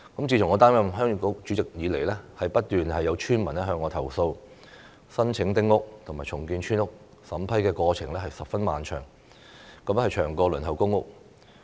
自從我擔任鄉議局主席以來，不斷有村民向我投訴，申請丁屋和重建村屋的審批過程十分漫長，比輪候公屋還要長。